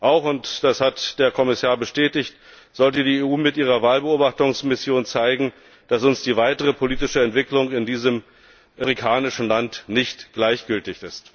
Auch und das hat der Kommissar bestätigt sollte die EU mit ihrer Wahlbeobachtungsmission zeigen, dass uns die weitere politische Entwicklung in diesem afrikanischen Land nicht gleichgültig ist.